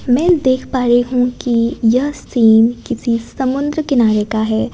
मैं देख पा रही हूं कि यह सीन किसी समुद्र किनारे का है।